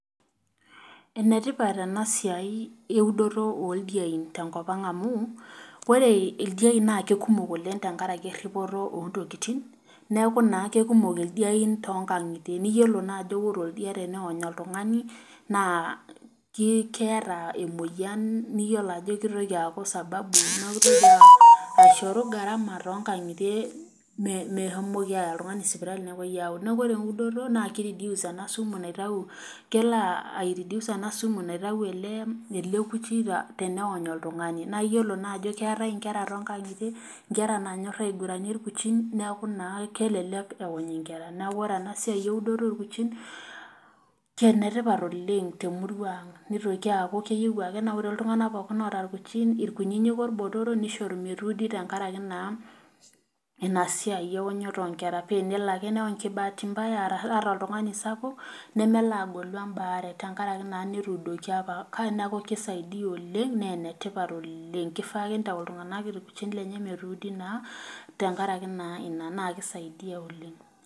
Ene tipat ena siai eudoto oldiain te nkop ang' amu ore ildiain naa kumok oleng' tenkaraki eripoto o ntokitin, neeku naa kekumok ildiain too nkang'itie. Niyolo naa ajo kore oldia teneony oltung'ani naa ki keeta emoyian niyolo ajo kitoki aaku sababu neeku itoki aishoru gharama to o nkang'itie meshomoki aaya oltung'ani sipitali nepuoi aud. Neeko ore eudoto naake i reduce ina sumu naitau kelo ai educe ena sumu naitau ele kuchi teneony oltung'ani. Naa iyiolo naa ajo keetai nkera too nkang'itie nkera naanyor aiguranyie irkuchin neeku naa kelelek eony nkera . Neeku ore ena siai eudoto orkuchin kene tipat oleng' te murua ang' nitoki aaku keyeu ake naa kore iltung'anak pookin oota irkuchin irkunyinyik orbotoro nishoru metuudi tenkaraki naa ina siai eonyoto o nkera pee enelo ake neonye kibahati mbaya, arashe ata oltung'ani sapuk nemelo agolu embaare tenkaraki naa netuudoki apa. Neeku kisaidia oleng' naa ene tipat oleng' kifaa ake nitau iltung'anak irkuchin lenye metuudi naa tenkaraki naa ina naa ki saidia oleng'.